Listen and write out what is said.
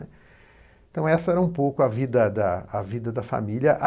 Então essa era um pouco a vida da, a vida da família.